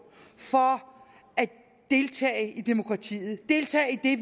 for at deltage i demokratiet deltage i det